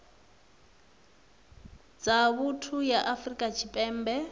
dza vhuthu ya afrika tshipembe